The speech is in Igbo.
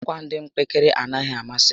Akwa dị mpekere anaghị amasị